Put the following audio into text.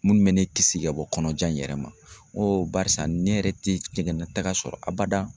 Minnu bɛ ne kisi ka bɔ kɔnɔja in yɛrɛ ma barisa ne yɛrɛ tɛ jɛngɛnta sɔrɔ abada.